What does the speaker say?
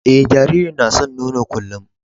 Eh, jaririn na san nono kullum.